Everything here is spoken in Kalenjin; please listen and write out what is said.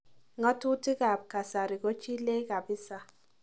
Ngatutik aba kasari kochilech kabisa.